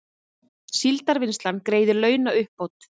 Síldarvinnslan greiðir launauppbót